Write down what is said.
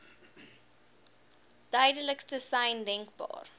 duidelikste sein denkbaar